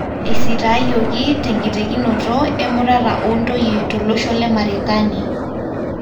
Esitayioki tenkitekinoto emurata ontoyie tolosho le Marekani.